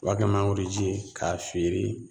U b'a kɛ mangoroji ye k'a feere